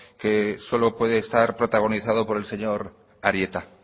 que solo puede estar protagonizado por el señor arieta